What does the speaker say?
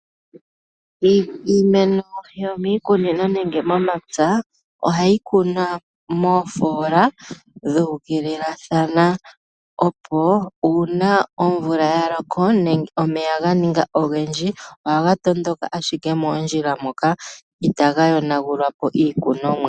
Iimeno yoomikunino nenge momapya, ohayi kunwa moofola dhuukililathana, opo uuna omvula ya loko nenge omeya ga ninga ogendji, ohaga tondoka ashike moondjila moka, itaga yonagula po iikunomwa.